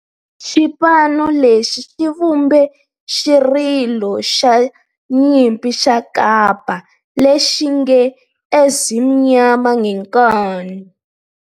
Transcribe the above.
Xipano lexi xi vumbe xirilo xa nyimpi xa kampa lexi nge 'Ezimnyama Ngenkani'.